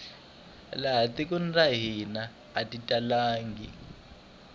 laha tikweni ra hina ati talangi